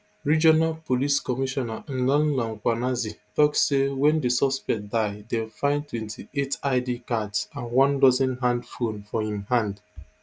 regional police commissioner nhlanhla mkhwanazi tok say wen di suspect die dem find twenty-eight id cards and one dozen hand phone for im hand